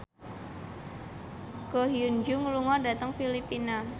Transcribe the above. Ko Hyun Jung lunga dhateng Filipina